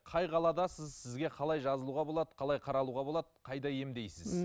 қай қаладасыз сізге қалай жазылуға болады қалай қаралуға болады қайда емдейсіз